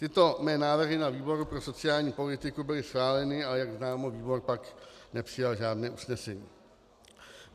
Tyto mé návrhy na výboru pro sociální politiku byly schváleny, ale jak známo, výbor pak nepřijal žádné usnesení.